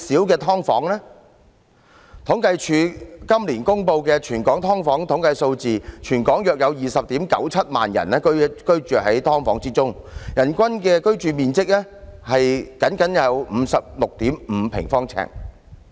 根據政府統計處今年公布的全港"劏房"統計數字，全港約有 209,700 人居於"劏房"，人均居住面積僅得 56.5 平方呎。